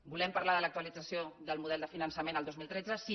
volem parlar de l’actualització del model de finançament el dos mil tretze sí